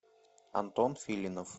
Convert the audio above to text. антон филинов